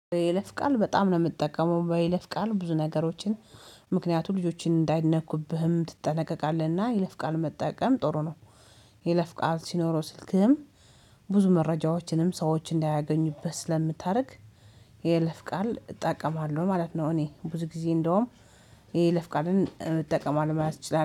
ይለፍ ቃል በጣም ነው የምትጠቀመው ባይለፍ ቃል ብዙ ነገሮችን። ምክንያቱም ልጆችን እንዳይነኩብህም ትጠነቀቃለህና ይለፍቃል መጠቀም ጥሩ ነው። የይለፍቃል ሲኖረው ስልክህም ብዙ መረጃዎችንም ሰዎች እንዳያገኙበት ስለምታደርግ። የይለፍ ቃል እጠቀማለሁ ማለት ነው። እኔ ብዙ ጊዜ እንደውም ይሄ የይለፍ ቃልን እጠቀማለሁ ማለት እችላለሂ